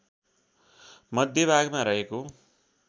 मध्य भागमा रहेको